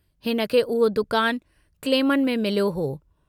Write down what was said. हिनखे उहो दुकान क्लेमनि में मिलियो हो।